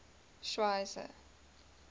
schweizer